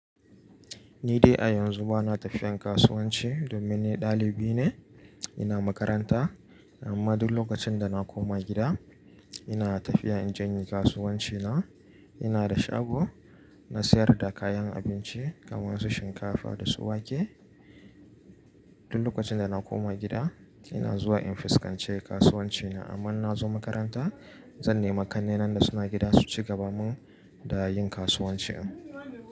Ni dai a yanzu ba na tafiyan kasuwanci domin ni ɗalibi ne. Ina makaranta. Amma duk lokacin da na koma gida, ina tafiya in je in yi kasuwanci na. Ina da shago na sayar da kayan abinci kamar su shinkafa da su wake. Duk lokacin da na koma gida ina zuwa in fuskance kasuwanci na. Amma in na zo makaranta, zan nema ƙannena da su na gida su ci gaba min da yin kasuwanci.